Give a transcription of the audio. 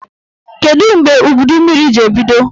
Kedụ mgbe udummiri ji ebido?